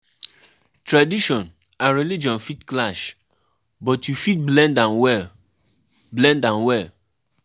Di guy tok sey if im hold di charm di charm sey nobodi go fit kill am.